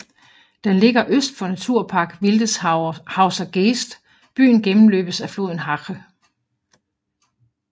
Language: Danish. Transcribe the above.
Den ligger øst for Naturpark Wildeshauser Geest Byen gennemløbes af floden Hache